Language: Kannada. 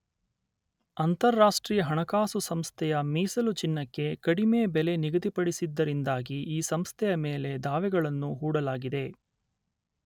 ಅಂತರರಾಷ್ಟ್ರೀಯ ಹಣಕಾಸು ಸಂಸ್ಥೆಯ ಮೀಸಲು ಚಿನ್ನಕ್ಕೆ ಕಡಿಮೆ ಬೆಲೆ ನಿಗದಿಪಡಿಸಿದ್ದರಿಂದಾಗಿ ಈ ಸಂಸ್ಥೆಯ ಮೇಲೆ ದಾವೆಗಳನ್ನು ಹೂಡಲಾಗಿದೆ.